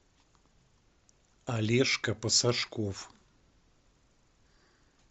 олежка посашков